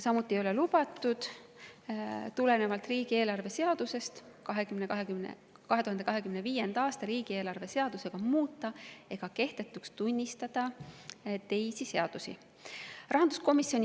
Samuti ei ole riigieelarve seadusest tulenevalt lubatud 2025. aasta riigieelarve seadusega muuta ega kehtetuks tunnistada teisi seadusi.